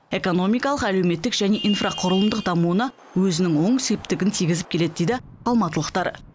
экономикалық әлеуметтік және инфрақұрылымдық дамуына өзінің оң септігін тиігізіп келеді дейді алматылықтар